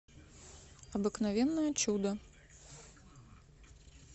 обыкновенное чудо